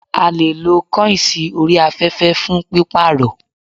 A leè lo kọ́ìnsì orí afẹ́fẹ́ fún pípàrọ̀